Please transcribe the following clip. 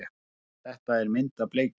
Þetta er mynd af bleikju.